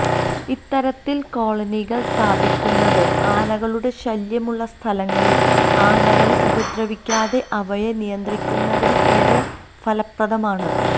ഇത്തരത്തിൽ കോളനികൾ സ്ഥാപിക്കുന്നത് ആനകളുടെ ശല്യമുള്ള സ്ഥലങ്ങളിൽ ആനകളെ ഉപദ്രവിക്കാതെ അവയെ നിയന്ത്രിക്കുന്നതിന് ഏറെ ഫലപ്രദമാണ്